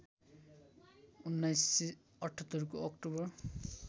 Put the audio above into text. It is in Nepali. १९७८ को अक्टोबर